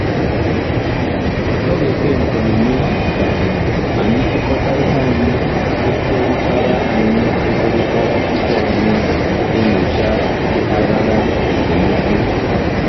Ọ̀ ga-ekwe omume ka um anyị chịkọta ihe anyị kwekọrịtara anyị kwekọrịtara tupu anyị enyocha mpaghara esemokwu?